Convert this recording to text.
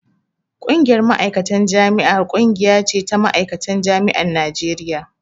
Ƙungiyar Ma'aikatan Jami'a ƙungiya ce ta ma'aikatan jami'an Najeriya